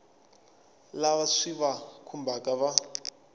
lava swi va khumbhaka va